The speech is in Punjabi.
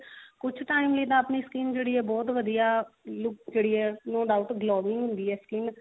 ਕੁਛ time ਲਈ ਤਾਂ ਆਪਣੀ skin ਜਿਹੜੀ ਬਹੁਤ ਵਧੀਆ look ਜਿਹੜੀ ਹੈ ਉਹ ਨੋ doubt ਹੁੰਦੀ ਹੈ skin